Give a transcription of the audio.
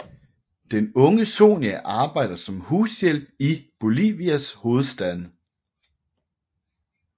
Den unge Sonia arbejder som hushjælp i Bolivias hovedstad